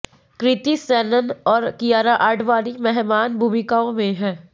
कृति सेनन और कियारा आडवाणी मेहमान भूमिकाओं में हैं